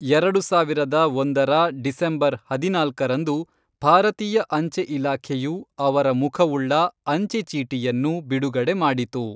ಎರಡು ಸಾವಿರದ ಒಂದರ ಡಿಸೆಂಬರ್ ಹದಿನಾಲ್ಕರಂದು ಭಾರತೀಯ ಅಂಚೆ ಇಲಾಖೆಯು ಅವರ ಮುಖವುಳ್ಳ ಅಂಚೆ ಚೀಟಿಯನ್ನು ಬಿಡುಗಡೆ ಮಾಡಿತು.